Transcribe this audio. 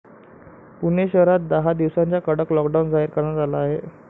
पुणे शहरात दहा दिवसांचा कडक लॉकडाऊन जाहीर करण्यात आला आहे.